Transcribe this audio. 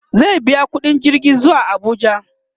zai biya ƙuɗin jirgi zuwa Abuja